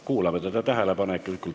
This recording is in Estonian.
Kuulame teda tähelepanelikult!